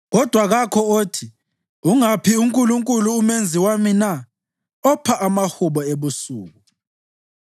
Kodwa kakho othi, ‘Ungaphi uNkulunkulu uMenzi wami na, opha amahubo ebusuku,